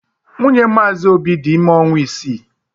Nwunye Mazi obi dị ime ọnwa isii..